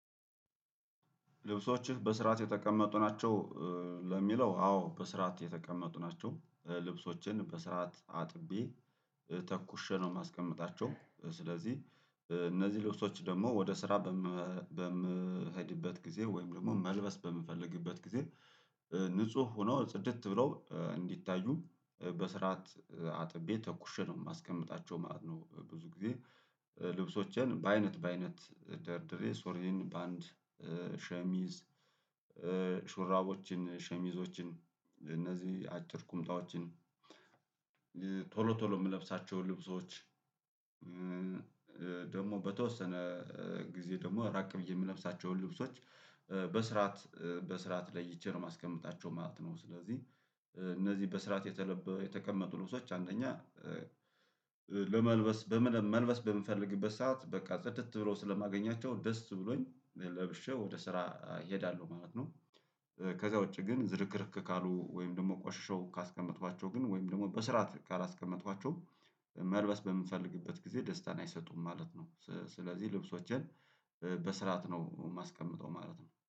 ልብሶችህ በስርዓት የተቀመጡ ናቸው? ለሚለው አዎ በስርዓት የተቀመጡ ናቸው ልብሶችን በስርዓት አጥቤ ተኩሸ ነው የማስቀምጣቸው። ስለዚህ እነዚህ ልብሶች ደግሞ ወደ ስራ በምሄድበት ጊዜ ወይም ደግሞ መልበስ በምፈልግበት ጊዜ ንጹህ ሆኖ ጽድት ብለው እንዲታዩ በስርዓት አጥቤ ተኩሼ ነው የማስቀምጣቸው ማለት ነው። ብዙ ጊዜ ልብሶችን በአይነት በአይነት ደርድሬ ሱሪየን በአንድ ሸሚዝ ሹራቦችን ሸሚዞችን እነዚህ አጭር ቁምጣዎችን ቶሎ ቶሎ የምለብሳቸው ልብሶች። ደግሞ በተወሰነ ጊዜ ደግሞ ራቅ ብዬ የምለብሳቸውን ልብሶች በስርዓት በስርዓት ለይቼ ነው የማስቀምጣቸው ማለት ነው። ስለዚህ እነዚህ በስርዓት የተቀመጡ ልብዎች አንደኛ ለመልበስ መልበስ በምፈልግበት ሰዓት በቃ ጽድት ብሎ ስለማገኛቸው ደስ ብሎኝ ለብሼ ወደ ስራ እሄዳለሁ ማለት ነው። ከዛ ውጪ ግን ዝርክርክ ካሉ ወይም ደግሞ ቆሽሼው ካስቀመጥኳቸው ግን ወይም ደግሞ በስርዓት ካላስቀመጥኳቸው መልበስ በምንፈልግበት ጊዜ ደስታን አይሰጡም ማለት ነው። ስለዚህ ልብሶችን በስርዓት ነው የማስቀምጠው ማለት ነው